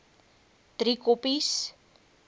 driekoppies